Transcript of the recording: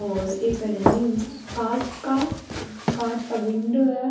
और ई पर है नि कांच का कांच का विंडो है।